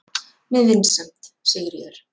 Með vinsemd, Sigríður.